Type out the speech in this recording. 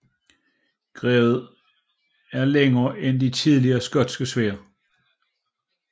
Grebet er længere end de tidligere skotske sværd